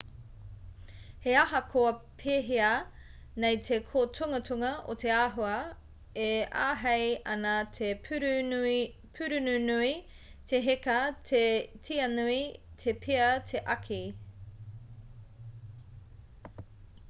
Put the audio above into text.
he ahakoa pēhea nei te kōtungatunga o te āhua e āhei ana te pūrununui te heka te tianui te pea te āki